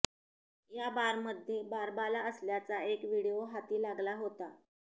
या बारमध्ये बारबाला असल्याचा एक व्हिडिओ हाती लागला होता